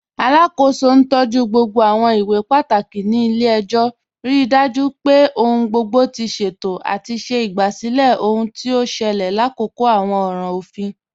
Alákó̩sọ̀ ntọju gbogbo àwọn ìwé pátákì ní ilẹ̀-ẹ̀jọ̀, ríí dájú pé ọ̀hun gbogbo ti ṣéto, àti ṣè igbásílẹ̀ ọhun tí o ṣẹlẹ̀ làkòkò àwọn ọ̀ràn ọ̀fin.